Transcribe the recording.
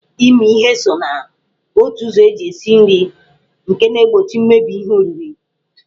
Ịmị ihe so na otu ụzọ eji esi nri nke na-egbochi mmebi ihe oriri.